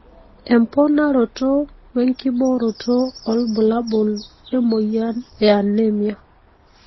emponaroto, wenkibooto olbulabul emoyian e anemia.